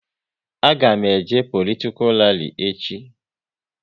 A ga m eje politikal rali echi